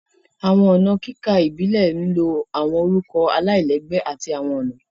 Awọn ọna kika Ibile ń Lo awọn orukọ alailẹgbẹ ati awọn ọna